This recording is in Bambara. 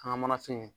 An ka manafin